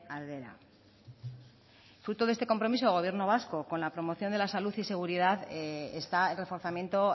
aldera fruto de este compromiso el gobierno vasco con la promoción de la salud y seguridad está el reforzamiento